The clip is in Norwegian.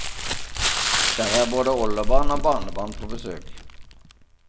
Der er både oldebarn og barnebarn på besøk.